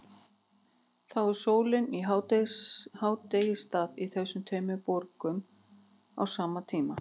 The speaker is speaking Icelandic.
Þá er sólin í hádegisstað í þessum tveimur borgum á sama tíma.